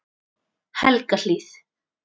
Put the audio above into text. Helgahlíð